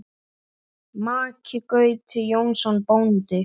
Maki Gauti Jónsson bóndi.